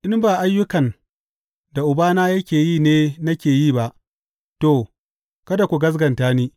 In ba ayyukan da Ubana yake yi ne nake yi ba, to, kada ku gaskata ni.